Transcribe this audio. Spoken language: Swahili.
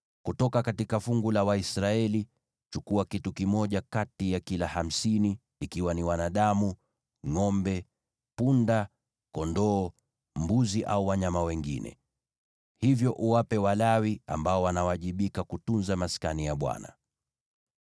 Kutoka fungu la Waisraeli, chukua kitu kimoja kati ya kila hamsini, ikiwa ni wanadamu, ngʼombe, punda, kondoo, mbuzi au wanyama wengine. Hivyo uwape Walawi, ambao wanawajibika kutunza Maskani ya Bwana .”